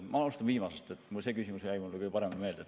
Ma alustan viimasest, see küsimus jäi mulle kõige paremini meelde.